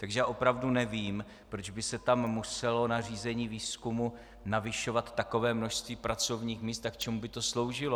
Takže já opravdu nevím, proč by se tam muselo na řízení výzkumu navyšovat takové množství pracovních míst a k čemu by to sloužilo.